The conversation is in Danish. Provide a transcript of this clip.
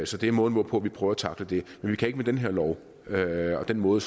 så det er måden hvorpå vi prøver at tackle det men vi kan ikke med den her lov og den måde